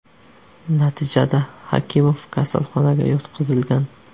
Natijada Hakimov kasalxonaga yotqizilgan.